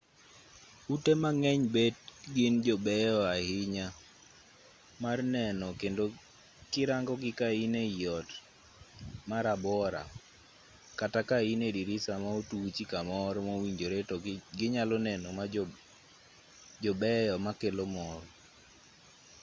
ute mang'eny bet gin jobeyo ahinya mar neno kendo kirangogi ka in ei ot marabora kata ka in e dirisa ma otuchi kamoro mowinjore to ginyalo neno ma jobeyo makelo mor